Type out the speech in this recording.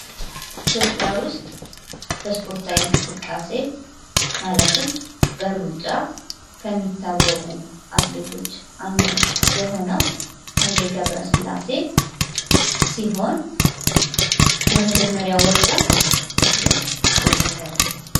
ኢትዮጵያ ዉስጥ በስፖርታዊ እንቅስቃሴ ማለትም በሩጫ ከሚታወቁ አትሌቶች አንዱ የሆነው ሃይሌ ገብርስላሴ ሲሆን የመጀመሪያ ወርቁን መቼ አስመዘገበ?